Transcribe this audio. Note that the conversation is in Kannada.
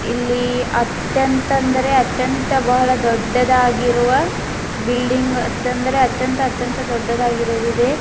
ಇಲ್ಲಿ ಅತ್ಯಂತದ್ರೆ ಅತ್ಯಂತ ಬಹಳ ದೊಡ್ಡದಾಗಿರುವ ಬಿಲ್ಡಿಂಗ್ ಅತ್ಯಂದ್ರ ಅತ್ಯಂತ ಅತ್ಯಂತ ದೊಡ್ಡದಾಗಿರುದಿದೆ.